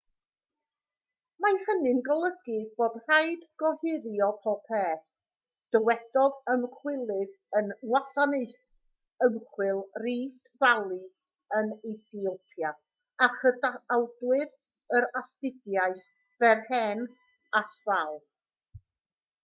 mae hynny'n golygu bod rhaid gohirio popeth dywedodd ymchwilydd yng ngwasanaeth ymchwil rift valley yn ethiopia a chydawdur yr astudiaeth berhane asfaw